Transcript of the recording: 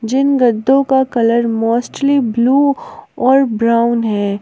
जिन गद्दों का colour mostly blue और ब्राउन है।